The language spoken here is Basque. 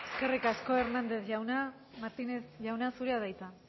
eskerrik asko hernández jauna martínez jauna zurea da hitza